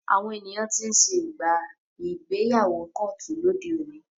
Àwọn ènìyàn tí ń ṣe ìgbéyàwó kóòtù lóde òní.